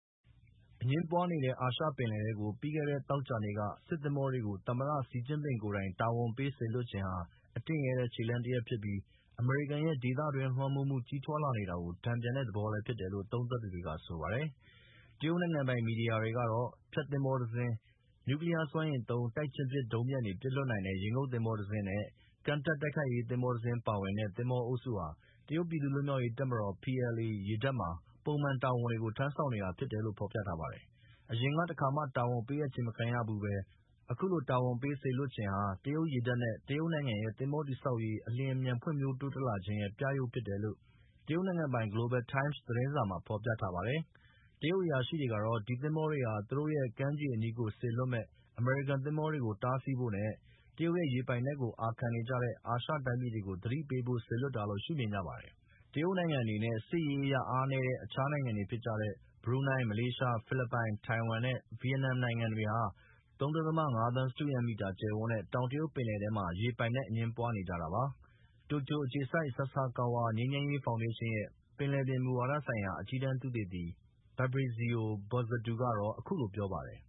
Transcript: အငြင်းပွားနေတဲ့ အာရှ ပင်လယ်ထဲကို ပြီးခဲ့တဲ့ သောကြာနေ့က စစ်သင်္ဘောတွေကို သမ္မတ Xi Jinping ကိုယ်တိုင် တာဝန်ပေးစေလွှတ်ခြင်းဟာ အတင့်ရဲတဲ့ ခြေလှမ်းတရပ်ဖြစ်ပြီး အမေရိကန်ရဲ့ ဒေသတွင်းလွှမ်းမိုးမှု ကြီးထွားလာနေတာကို တန်ပြန်တဲ့ သဘောလည်းဖြစ်တယ်လို့သုံးသပ်သူတွေက ဆိုပါတယ်။ တရုတ်နိုင်ငံပိုင် မီဒီယာတွေကတော့ ဖျက်သင်္ဘောတစင်း၊ နျူကလီးယားစွမ်းအင်သုံး တိုက်ချင်းပစ် ဒုံးပျံတွေပစ်လွှတ်နိုင်တဲ့ ရေငုတ်သင်္ဘောတစင်းနဲ့ ကမ်းတက်တိုက်ခိုက်ရေးသင်္ဘောတစင်းပါဝင်တဲ့ သင်္ဘောအုပ်စုဟာ တရုတ်ပြည်သူ့လွတ်မြောက်ရေးတပ်မတော် ( PLA) ရေတပ်မှာ ပုံမှန်တာဝန်တွေကို ထမ်းဆောင်နေတာဖြစ်တယ်လို့ ဖော်ပြထားပါတယ်။ အရင်က တခါကမှ တာဝန်ပေးအပ်ခြင်းမခံရဘူးပဲ အခုလို တာဝန်ပေးလိုက်တာဟာ တရုတ်ရေတပ်နဲ့ တရုတ်နိုင်ငံရဲ့ သင်္ဘောတည်ဆောက်ရေး အလျင်အမြန်တိုးတက်ဖွဲ့ဖြိုးလာခြင်းရဲ့ ပြရုပ်ဖြစ်တယ်လို့ နိုင်ငံပိုင် Global Times သတင်းစာကြီးမှာ ဖော်ပြပါတယ်။ တရုတ်အရာရှိတွေကတော့ ဒီသင်္ဘောတွေဟာ သူတို့ကမ်းခြေအနီးကို စေလွှတ်မယ့် အမေရိကန် သင်္ဘောတွေကို တားဆီးဖို့နဲ့ တရုတ်ရဲ့ ရေပိုင်နက်ကို အာခံနေကြတဲ့ အာရှတိုင်းပြည်တွေကို သတိပေးဖို့ စေလွှတ်တာလို့ရှုမြင်ကြပါတယ်။ တရုတ်နဲ့ စစ်ရေးအရ အားနည်းတဲ့ အခြား ၅ နိုင်ငံဖြစ်ကြတဲ့ ဘရူနိုင်း၊ မလေးရှား၊ ဖိလစ်ပိုင်၊ ထိုင်ဝမ်နဲ့ဗီယက်နမ်နိုင်ငံတွေဟာ ၃.၅ သန်း စတုရန်းကီလိုမီတာ ကျယ်ဝန်းတဲ့ တောင်တရုတ်ပင်လယ်ပြင်ထဲမှာ ရေပိုင်နက် အငြင်းပွားနေတာပါ။ တိုကျိူ အခြေစိုက် ဆာဆာကာဝါ ငြိမ်းချမ်းရေးဖောင်ဒေးရှင်းရဲ့ ပင်လယ်ပြင်မူဝါဒဆိုင်ရာ အကြီးတန်းသုတေသီ Fabrizio Bozzato ကတော့ အခုလို ပြောပါတယ်